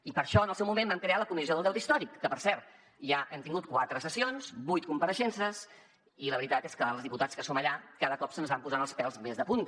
i per això en el seu moment vam crear la comissió del deute històric que per cert ja hem tingut quatre sessions vuit compareixences i la veritat és que els diputats que som allà cada cop se’ns van posant els pèls més de punta